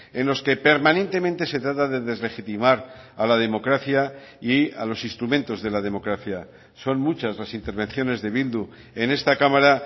en los que permanentemente se trata de deslegitimar a la democracia y a los instrumentos de la democracia son muchas las intervenciones de bildu en esta cámara